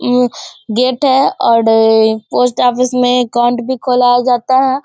उमं गेट है और पोस्ट ऑफिस में अकाउंट भी खोला जाता है।